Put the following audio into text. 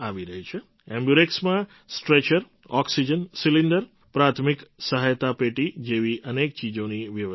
એમ્બ્યુરેક્સમાં stretcher oxygen cylinder પ્રાથમિક સહાયતા પેટી જેવી અનેક ચીજોની વ્યવસ્થા છે